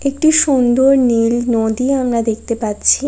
একটি সুন্দর নীল নদী আমরা দেখতে পাচ্ছি।